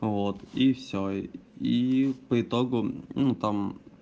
вот и всё и по итогу ну там